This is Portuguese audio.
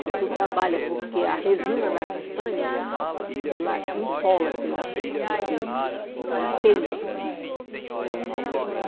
Então, tu trabalha, porque a resina da castanha, ela empola teus teus dedos, ela queima.